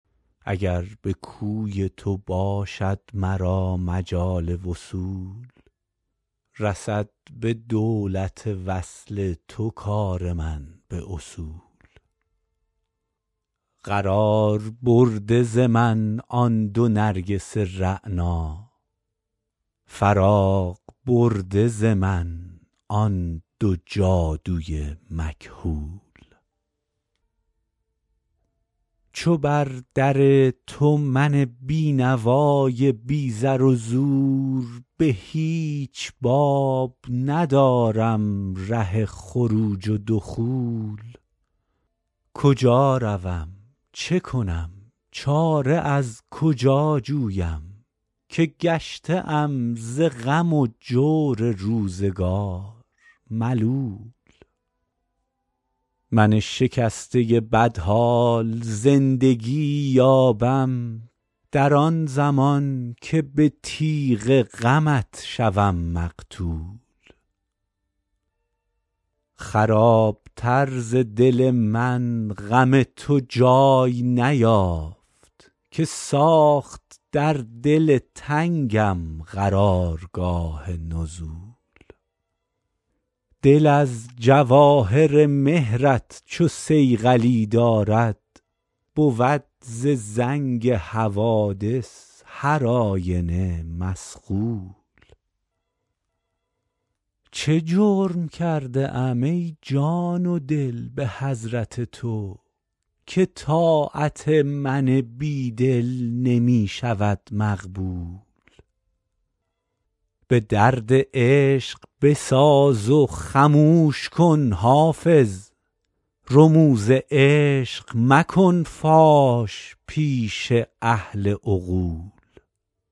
اگر به کوی تو باشد مرا مجال وصول رسد به دولت وصل تو کار من به اصول قرار برده ز من آن دو نرگس رعنا فراغ برده ز من آن دو جادو ی مکحول چو بر در تو من بینوا ی بی زر و زور به هیچ باب ندارم ره خروج و دخول کجا روم چه کنم چاره از کجا جویم که گشته ام ز غم و جور روزگار ملول من شکسته بدحال زندگی یابم در آن زمان که به تیغ غمت شوم مقتول خراب تر ز دل من غم تو جای نیافت که ساخت در دل تنگم قرار گاه نزول دل از جواهر مهر ت چو صیقلی دارد بود ز زنگ حوادث هر آینه مصقول چه جرم کرده ام ای جان و دل به حضرت تو که طاعت من بیدل نمی شود مقبول به درد عشق بساز و خموش کن حافظ رموز عشق مکن فاش پیش اهل عقول